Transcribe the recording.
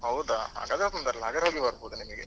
ಹೌದಾ ಹಾಗಾದ್ರೆ ತೊಂದ್ರೆ ಇಲ್ಲ ಹೋಗಿ ಬರ್ಬೋದು ನಿನಿಗೆ.